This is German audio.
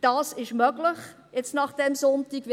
Das ist jetzt, nach diesem Sonntag, möglich.